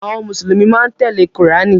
Àwọn Mùsùlùmí máa ń tẹ́lẹ̀ Kùránì.